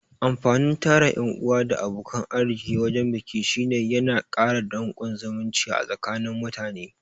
Amfanin tara ƴan'uwa da abokan arziki wajan biki shine yana kara danƙon zumunci a tsakani mutane